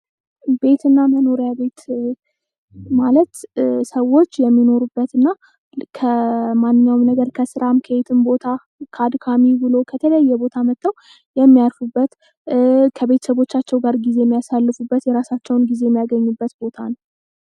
ቤትና መኖሪያ ቤት ማለት ሰዎች የሚኖሩበት እና ከማንኛውም ነገር ከስራ፥ ከውሎ ከየትኛውም ቦታ መጥተው የሚያርፉበት፥ ከቤተሰቦቻቸው ጋር ጊዜ የሚያሳልፉበት፥ የራሳቸውን ጊዜ የሚያሳልፉበት ቦታ ነው።